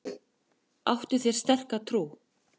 Áttu þér sterka trú?